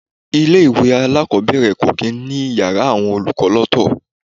Ilé-ìwé alakobere kò kì í ní Ìyàrá àwọn olùkọ́ lọ́to.